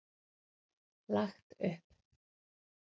Lagt upp.